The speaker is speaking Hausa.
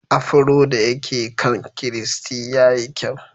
Afro da yake kan Christy ya yi kyau.